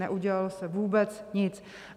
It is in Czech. Neudělalo se vůbec nic.